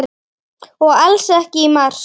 Og alls ekki í mars.